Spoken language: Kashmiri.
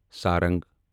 سارنگ